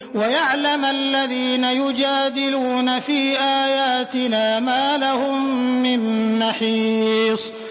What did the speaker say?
وَيَعْلَمَ الَّذِينَ يُجَادِلُونَ فِي آيَاتِنَا مَا لَهُم مِّن مَّحِيصٍ